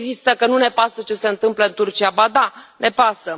Nu există că nu ne pasă ce se întâmplă în Turcia, ba da, ne pasă.